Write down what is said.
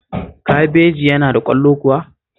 Kabeji yana da ƙwallo kuwa?